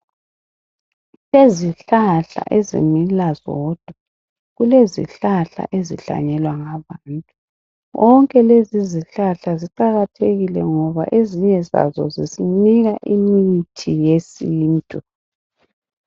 Kulezihlahla ezimila zodwa kulezihlahla ezihlanyelwa ngabantu zonke lezi zihlahla ziqakathekile ngoba ezinye zazo zisinika imithi yesintu.